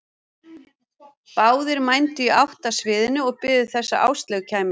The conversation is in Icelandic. Báðir mændu í átt að sviðinu og biðu þess að Áslaug kæmi.